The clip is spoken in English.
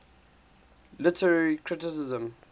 literary criticism